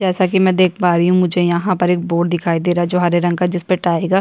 जैसा कि में देख पा रही हूं मुझे यहाँ पर एक बोर्ड दिखाई दे रहा है जो हरे रंग का जिसपर टाइगर --